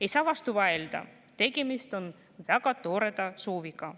Ei saa vastu vaielda, tegemist on väga toreda sooviga.